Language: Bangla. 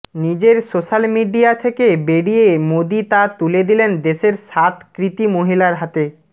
নিজের সোশ্যাল মিডিয়া থেকে বেরিয়ে মোদি তা তুলে দিলেন দেশের সাত কৃতী মহিলার হাতে